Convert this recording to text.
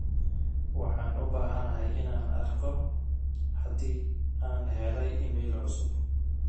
waxaan u bahanahay inaan arko haddii aan helay iimayl cusub